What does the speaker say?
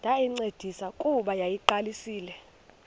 ndayincedisa kuba yayiseyiqalisile